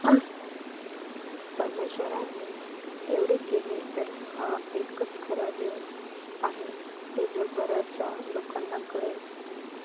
परमेश्वराने एवढे केले तर हा एकच खरा देव आहे हे जगभरच्या लोकांना कळेल.